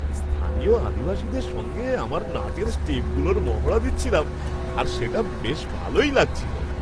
স্থানীয় আদিবাসীদের সঙ্গে আমার নাচের স্টেপগুলোর মহড়া দিচ্ছিলাম আর সেটা বেশ ভালোই লাগছিল।